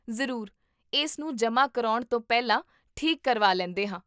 ਜ਼ਰੂਰ, ਇਸ ਨੂੰ ਜਮਾਂ ਕਰਵਾਉਣ ਤੋਂ ਪਹਿਲਾਂ ਠੀਕ ਕਰਵਾ ਲੈਂਦੇ ਹਾਂ